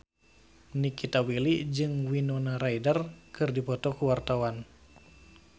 Nikita Willy jeung Winona Ryder keur dipoto ku wartawan